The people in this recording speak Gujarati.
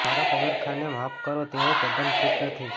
મારા પગરખાંને માફ કરો તેઓ તદ્દન ફિટ નથી